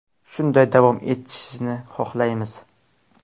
Shunday davom etishini xohlaymiz.